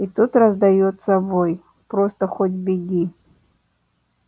и тут раздаётся вой просто хоть беги